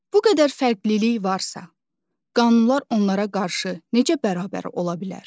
Bu qədər fərqlilik varsa, qanunlar onlara qarşı necə bərabər ola bilər?